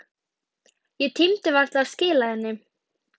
Ég tímdi varla að skila henni.